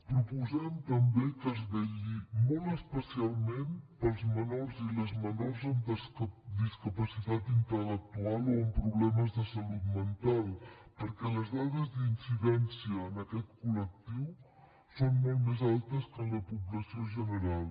proposem també que es vetlli molt especialment pels menors i les menors amb discapacitat intel·lectual o amb problemes de salut mental perquè les dades d’incidència en aquest col·lectiu són molt més altes que en la població general